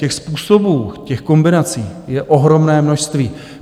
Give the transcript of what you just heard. Těch způsobů, těch kombinací je ohromné množství.